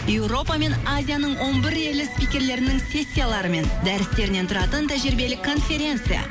европа мен азияның он бір елі спикерлерінің сессиялары мен дәрістерінен тұратын тәжірибелік конференция